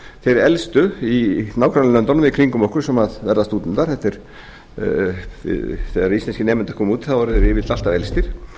þeir elstu í nágrannalöndunum eða í kringum okkur sem verða stúdentar þegar íslenskir nemendur koma út þá eru þeir yfirleitt alltaf elstir